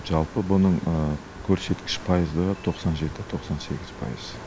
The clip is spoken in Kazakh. жалпы бұның көрсеткіш пайызы тоқсан жеті тоқсан сегіз пайыз